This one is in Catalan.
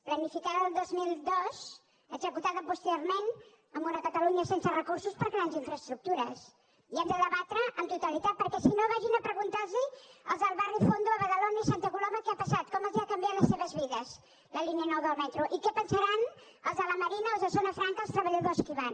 planificada el dos mil dos executada posteriorment amb una catalunya sense recursos per a grans infraestructures i hem de debatre amb totalitat perquè si no vagin a preguntar los als del barri fondo a badalona i a santa coloma què ha passat com els ha canviat les seves vides la línia nou del metro i què pensaran els de la marina o els de zona franca els treballadors que hi van